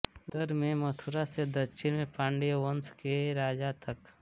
उत्तर में मथुरा से दक्षिण में पांड्य वंश के राज तक